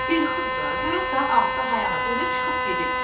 İlxıdı da, görəsən ağızı hayana dönüb çıxıb gedib.